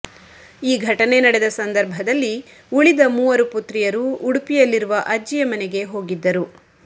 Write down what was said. ಈ ಘಟನೆ ನಡೆದ ಸಂದರ್ಭದಲ್ಲಿ ಉಳಿದ ಮೂವರು ಪುತ್ರಿಯರು ಉಡುಪಿಯಲ್ಲಿರುವ ಅಜ್ಜಿಯ ಮನೆಗೆ ಹೋಗಿದ್ದರು